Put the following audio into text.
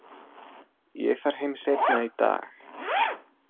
Ég fer heim seinna í dag.